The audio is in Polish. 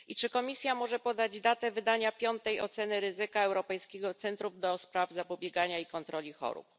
I czy Komisja może podać datę wydania piątej oceny ryzyka Europejskiego Centrum do spraw Zapobiegania i Kontroli Chorób?